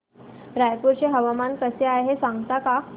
रायपूर चे हवामान कसे आहे सांगता का